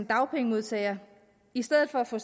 dagpengemodtager i stedet for at få